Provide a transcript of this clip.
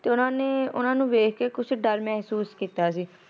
ਤੇ ਉਨਾ ਨੇ ਉਨਾ ਨੂੰ ਵੇਖ ਕੇ ਕੁਝ ਡਰ ਮਹਿਸੂਸ ਕੀਤਾ ਸੀ